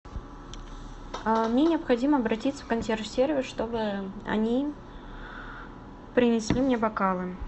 мне необходимо обратиться в консьерж сервис чтобы они принесли мне бокалы